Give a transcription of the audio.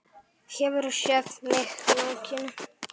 Hefurðu séð mig nakinn?